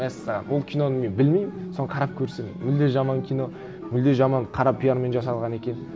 мәссаған ол киноны мен білмеймін соны қарап көрсем мүлде жаман кино мүлде жаман қара пиармен жасалған екен